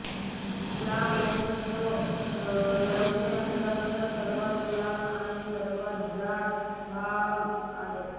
लांब असून तो लघ्वांत्राचा सर्वांत लहान आणि सर्वांत जाड भाग आहे